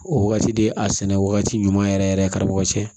O wagati de a sɛnɛ wagati ɲuman yɛrɛ yɛrɛ karamɔgɔ cɛ